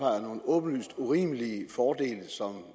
nogle åbenlyst urimelige fordele som